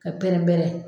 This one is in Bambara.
Ka pɛrɛn-pɛrɛn